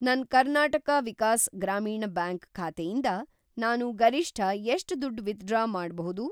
ನನ್‌ ಕರ್ನಾಟಕ ವಿಕಾಸ್‌ ಗ್ರಾಮೀಣ ಬ್ಯಾಂಕ್ ಖಾತೆಯಿಂದ ನಾನು ಗರಿಷ್ಠ ಎಷ್ಟ್‌ ದುಡ್ಡು ವಿತ್‌ಡ್ರಾ ಮಾಡ್ಬೋದು?